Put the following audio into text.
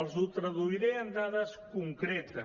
els ho traduiré en dades concretes